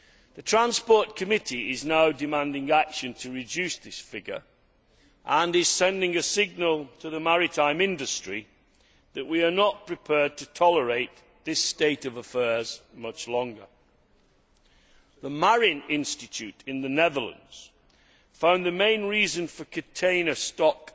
The Transport Committee is now demanding action to reduce this figure and is sending a signal to the maritime industry that we are not prepared to tolerate this state of affairs much longer. The MARIN Institute in the Netherlands found the main reasons for container stack